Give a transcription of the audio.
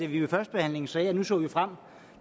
vi ved førstebehandlingen sagde at nu så vi frem